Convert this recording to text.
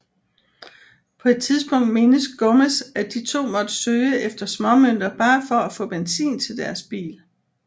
På et tidspunkt mindes Gomez at de to måtte søge efter småmønter bare for at få benzin til deres bil